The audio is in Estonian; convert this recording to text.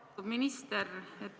Lugupeetud minister!